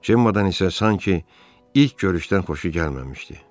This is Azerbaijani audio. Cemmada isə sanki ilk görüşdən xoşu gəlməmişdi.